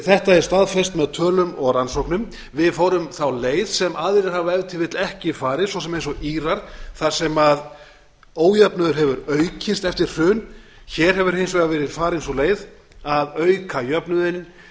þetta er staðfest með tölum og rannsóknum við fórum þá leið sem aðrir hafa ef til vill ekki farið svo sem eins og írar þar sem ójöfnuður hefur aukist eftir hrun hér hefur hins vegar verið farin sú leið að auka jöfnuðinn